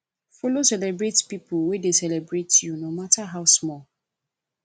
follow celebrate pipo wey de celebrate u no matter how small